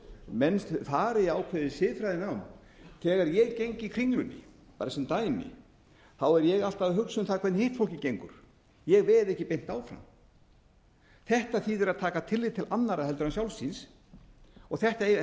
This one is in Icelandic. menn fari í ákveðið siðfræðinám þegar ég geng í kringlunni bara sem dæmi er ég alltaf að hugsa um það hvernig hitt fólkið gengur ég veð ekki beint áfram þetta þýðir að taka tillit til annarra heldur en sjálfs sín þetta eru